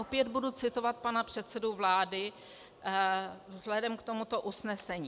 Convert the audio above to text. Opět budu citovat pana předsedu vlády vzhledem k tomuto usnesení.